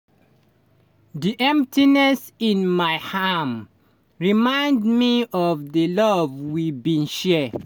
di emptiness in my arm remind me of di love we bin share.